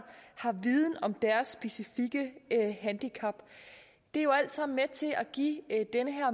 har viden om deres specifikke handicap det er jo alt sammen med til at give denne